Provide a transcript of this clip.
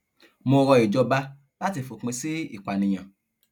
mo rọ ìjọba láti fòpin sí ìpànìyàn